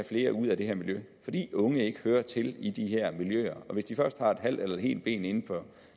flere ud af det her miljø fordi unge ikke hører til i de her miljøer og hvis de først har et halvt eller et helt ben inden for